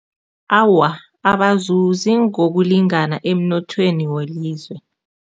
Awa, abazuzi ngokulingana emnothweni welizwe.